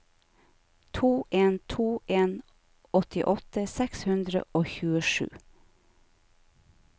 to en to en åttiåtte seks hundre og tjuesju